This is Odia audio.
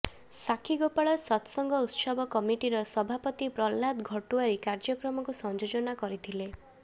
ସାକ୍ଷୀଗୋପାଳ ସତସଙ୍ଘ ଉତ୍ସବ କମିଟିର ସଭାପତି ପ୍ରହଲ୍ଲାଦ ଘଟୁଆରୀ କାର୍ଯ୍ୟକ୍ରମକୁ ସଂଯୋଜନା କରିଥିଲେ